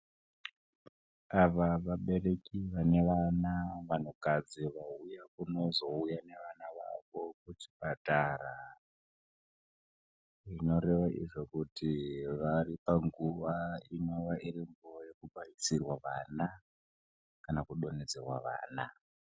Ava vabereki vane vana, vanhukadzi vauya kunozouya nevana vavo kuzvipatara. Zvinoreva izvo kuti vari panguva inova iripo yekubairisirwa vana kana kudonhedzerwa vana.